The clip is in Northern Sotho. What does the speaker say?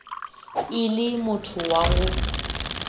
e le motho wa go